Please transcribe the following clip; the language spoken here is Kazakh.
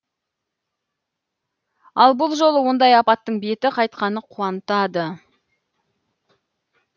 ал бұл жолы ондай апаттың беті қайтқаны қуантады